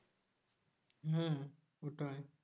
হম ওটাই